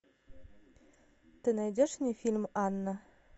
ты найдешь мне фильм анна